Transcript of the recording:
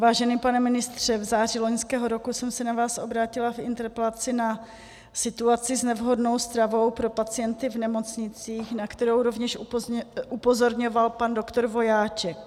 Vážený pane ministře, v září loňského roku jsem se na vás obrátila v interpelaci na situaci s nevhodnou stravou pro pacienty v nemocnicích, na kterou rovněž upozorňoval pan doktor Vojáček.